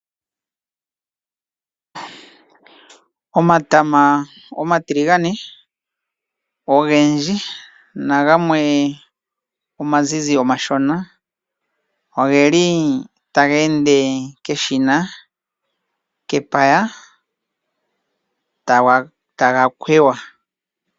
Omatama omatiligane ogendji nagamwe omazizi omashona, ogeli taga ende keshina kepaya taga kweywa.